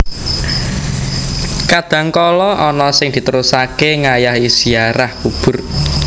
Kadhangkala ana sing diterusaké ngayahi ziarah kubur